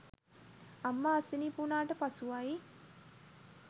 අම්මා අසනීප වූණාට පසුවයි